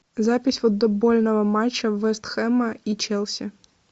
запись футбольного матча вест хэма и челси